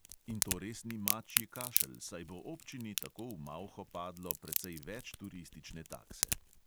In to res ni mačji kašelj, saj bo občini tako v malho padlo precej več turistične takse!